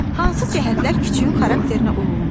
Hansı cəhətlər küçüyün xarakterinə uyğundur?